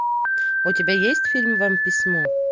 у тебя есть фильм вам письмо